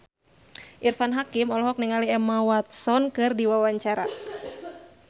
Irfan Hakim olohok ningali Emma Watson keur diwawancara